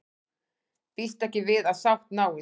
Býst ekki við að sátt náist